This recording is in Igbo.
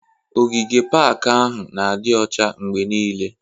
Ogige pak ahụ n'adi ọcha mgbe niile